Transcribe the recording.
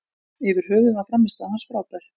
Yfir höfuð var frammistaða hans frábær.